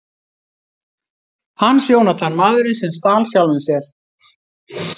Hans Jónatan: Maðurinn sem stal sjálfum sér.